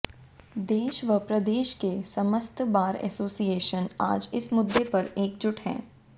देश व प्रदेश के समस्त बार एसोसिएशन आज इस मुद्दे पर एकजुट हैं